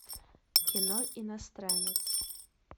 кино иностранец